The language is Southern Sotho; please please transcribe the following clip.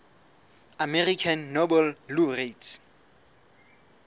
american nobel laureates